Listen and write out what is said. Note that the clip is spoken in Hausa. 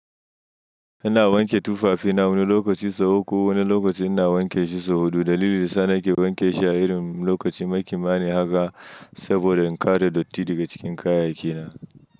Ina wanke tufafina wani lokaci sau uku, wani lokaci ina wanke shi sau huɗu. Dalilin sa ya sa na ke wanke shi a irin lokacin na kimanin haka saboda in kare datti daga cikin kayyakina.